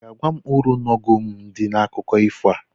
Ị ga-agwa m uru n'ọghọm dị n'akụkọ ifo a?